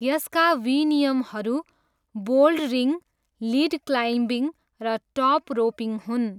यसका विनियमहरू bouldering, lead climbing र टप रोपिङ हुन्।